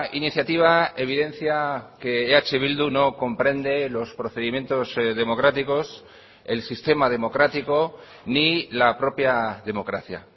iniciativa evidencia que eh bildu no comprende los procedimientos democráticos el sistema democrático ni la propia democracia